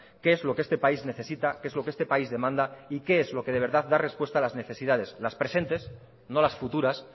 qué es lo que este país necesita que es lo que este país demanda y qué es lo que de verdad da respuesta a las necesidades presentes no las futuras